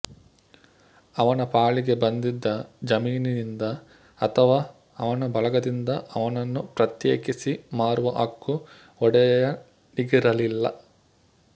ಅವನ ಪಾಲಿಗೆ ಬಂದಿದ್ದ ಜಮೀನಿನಿಂದ ಅಥವಾ ಅವನ ಬಳಗದಿಂದ ಅವನನ್ನು ಪ್ರತ್ಯೇಕಿಸಿ ಮಾರುವ ಹಕ್ಕು ಒಡೆಯನಿಗಿರಲಿಲ್ಲ